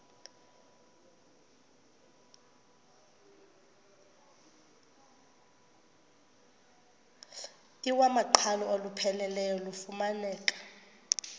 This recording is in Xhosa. iwamaqhalo olupheleleyo lufumaneka